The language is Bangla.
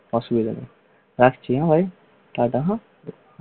অসুবিধে নেই রাখছি হ্যা ভাই অসুবিধে নেই।